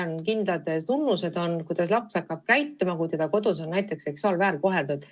On kindlad tunnused, kuidas laps hakkab käituma, kui teda kodus on näiteks seksuaalselt väärkoheldud.